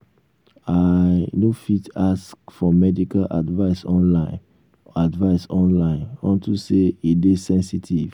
i um no fit ask for medical advice online advice online unto say e dey sensitive